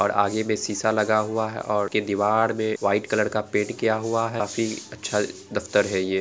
और आगे में शीशा लगा हुआ है और दीवाल में वाइट कलर का पैंट किया हुआ है काफी अच्छा दफ्तर है ये --